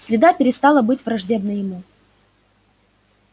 среда перестала быть враждебной ему